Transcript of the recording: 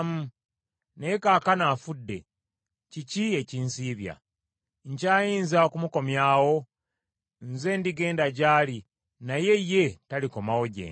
Naye kaakano afudde, kiki ekinsiibya? Nkyayinza okumukomyawo? Nze ndigenda gy’ali, naye ye talikomawo gye ndi.”